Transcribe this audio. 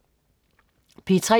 P3: